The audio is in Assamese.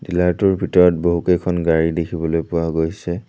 ডিলাৰ টোৰ ভিতৰত বহুকেইখন গাড়ী দেখিবলৈ পোৱা গৈছে।